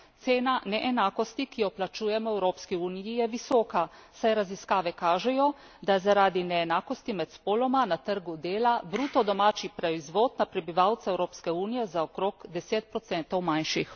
Cena neenakosti, ki jo plačujemo v Evropski uniji, je visoka, saj raziskave kažejo, da zaradi neenakosti med spoloma na trgu dela bruto domači proizvod na prebivalca Evropske unije za okrog 10 manjši.